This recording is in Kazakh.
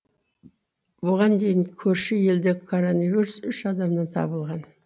бұған дейін көрші елде коронавирус үш адамнан табылған